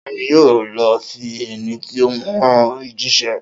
Ta ni yóò lọ fi ẹní tí o hùn jíṣẹ́?